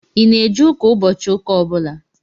Ị na-eje ụka ụbọchị ụka ọbụla?